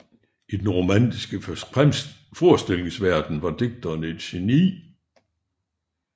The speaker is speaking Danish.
I den romantiske forestillingsverden var digteren et geni